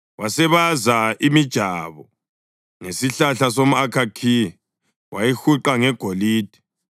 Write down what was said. Wasebaza imijabo ngesihlahla somʼakhakhiya wayihuqa ngegolide.